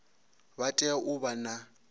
vha tea u vha na